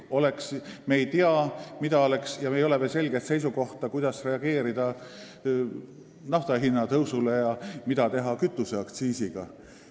Me ei tea, meil ei ole veel selget seisukohta, kuidas reageerida nafta hinna tõusule ja mida teha kütuseaktsiisiga.